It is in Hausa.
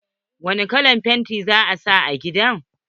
Wani kalan painti za a sa a gidan?